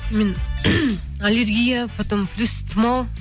мен аллергия потом плюс тымау